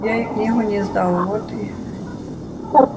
я ей книгу не сдал вот и